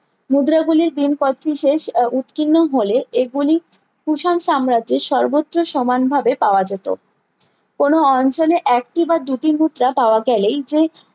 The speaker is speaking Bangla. মুদ্রা গুলি ভীম কোচটিজের আহ উৎকীর্ণ হলে এগুলি কুষাণ সাম্রাজ্জ্যে এর সর্বত্র সমান ভাবে পাওয়া যেতো কোনো অঞ্চলে একই বা দুটির মুদ্রা পাওয়া গেলেই যায়